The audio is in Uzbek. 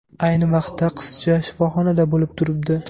Ayni vaqtda qizcha shifoxonada bo‘lib turibdi.